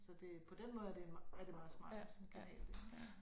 Så det på den måde er det en meget er det meget smart med sådan en kanal ik